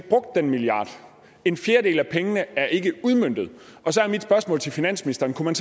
brugt den milliard en fjerdedel af pengene er ikke udmøntet og så er mit spørgsmål til finansministeren kunne man